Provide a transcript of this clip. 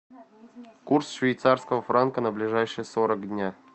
курс швейцарского франка на ближайшие сорок дня